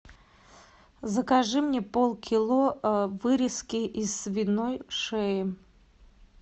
закажи мне полкило вырезки из свиной шеи